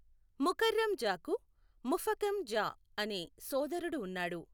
ముకర్రం జాకు ముఫఖం జా అనే సోదరుడు ఉన్నాడు.